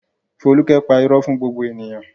Folúkẹ́ pa irọ́ fún gbogbo ènìyàn?